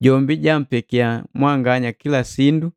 Jombi jaampekia mwanganya kila sindu,